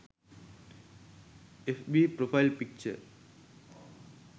fb profile picture